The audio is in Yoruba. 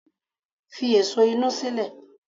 Fi èso inú sílẹ̀!